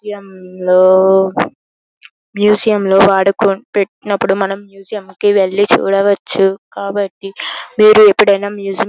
museum లో museum లో వాడుకున్-పెట్టినప్పుడు మనం మ్యూజియం కి వెళ్లి చూడవచ్చు కాబట్టి మీరు ఎప్పుడైనా మ్యూజియం --